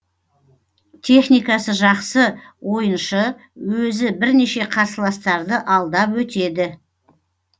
техникасы жақсы ойыншы өзі бірнеше қарсыластарды алдап өтеді